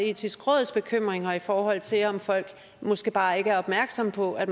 etiske råds bekymringer i forhold til om folk måske bare ikke er opmærksomme på at